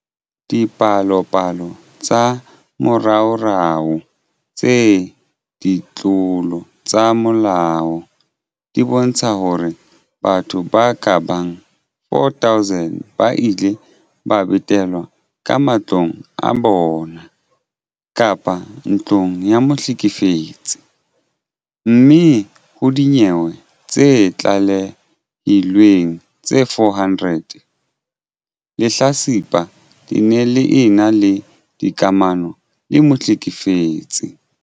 Dipalopalo tsa moraorao tsa ditlolo tsa molao di bontsha hore batho ba ka bang 4 000 ba ile ba betelwa ka matlong a bona kapa ntlong ya mohlekefetsi, mme ho dinyewe tse tlalehilweng tse 400, lehlatsipa le ne le ena le dikamano le mohlekefetsi.